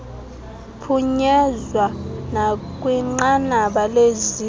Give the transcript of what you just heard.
phunyezwa nakwinqanaba leziko